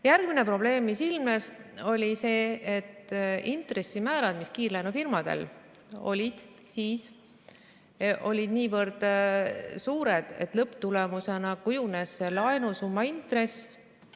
Järgmine probleem, mis ilmnes, oli see, et intressimäärad, mis kiirlaenufirmadel olid, olid niivõrd suured, et lõpptulemusena kujunes laenusumma intress ...